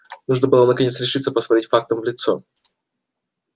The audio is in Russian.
нужно было наконец решиться посмотреть фактам в лицо